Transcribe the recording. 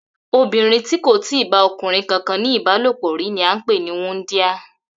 Obìnrin tí kò ì tíì bá o̩kùnrin kankan ní ìbálòpò rí ni à ń pè ní wúndíá